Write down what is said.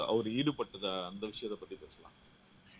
அவர் ஈடுபட்டதா அந்த விஷயத்தைப் பத்தி பேசலாம்